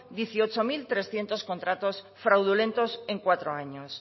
dieciocho mil trescientos contratos fraudulentos en cuatro años